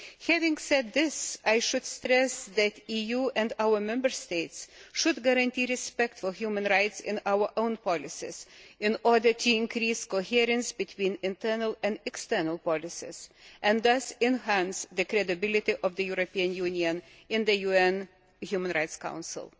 Having said this, I should stress that the EU and our Member States should guarantee respect for human rights in our own policies in order to increase the coherence between internal and external policies and thus enhance the credibility of the European Union in the UN Human Rights Council.